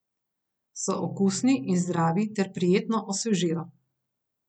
So okusni in zdravi ter prijetno osvežijo.